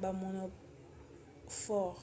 bamonomorphes